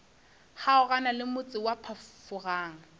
kgaogana le motse wa phafogang